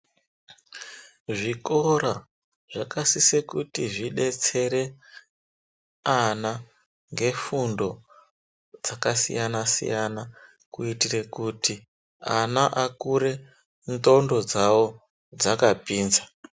Zvikora, zvaksise kuti zvidetsere ana ngefundo dzakasiyana siyana, kuitire kuti ana akure ndxondo dzawo dzakapinza.